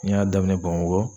N y'a daminɛ Bamako